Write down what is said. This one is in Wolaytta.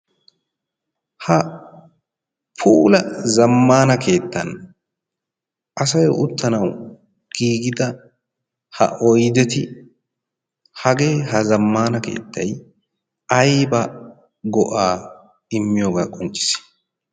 ha puulla zamaana keettan asay utanau ha oydeti hagee ha zamaana keettay ayba go'aa immiyoga qoncissii?